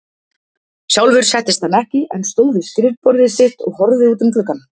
Sjálfur settist hann ekki, en stóð við skrifborðið sitt og horfði út um gluggann.